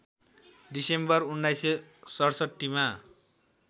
December १९६७ मा